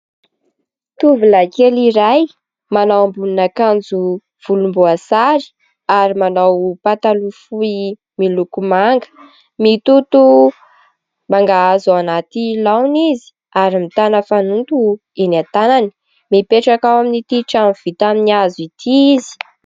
Tovolahy kely iray manao ambonin'akanjo volomboasary ary manao pataloha fohy miloko manga. Mitoto mangahazo ao anaty laona izy ary mitana fanoto eny an-tanany. Mipetraka ao amin'ity trano vita amin'ny hazo ity izy.